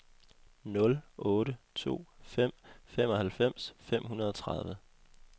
nul otte to fem femoghalvfems fem hundrede og tredive